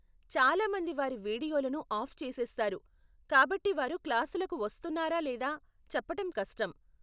చాలా మంది వారి వీడియోలను ఆఫ్ చేసేస్తారు, కాబట్టి వారు క్లాసులకు వస్తున్నారా లేదా చెప్పటం కష్టం.